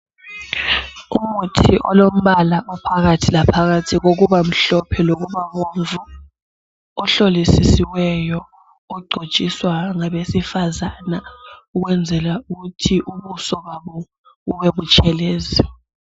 Umuthi olombala ophakathi laphakathi kokuba mhlophe lokuba bomvu ohlolisisiweyo ogcotshiswa ngabesifazana ukwenzela ukuthi ubuso babo bube butshelezi.